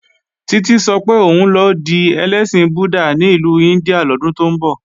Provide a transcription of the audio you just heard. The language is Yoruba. Títí sọ pé òun lọ di ẹlẹ́sìn Buddha ní ìlú India lọ́dún tó ń bọ̀